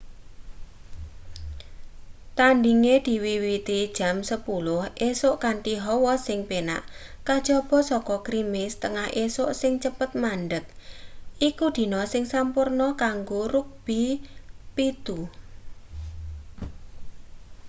tandhinge diwiwiti jam 10:00 esuk kanthi hawa sing penak kajaba saka grimis tengah esuk sing cepet mandheg iku dina sing sampurna kanggo rugbi 7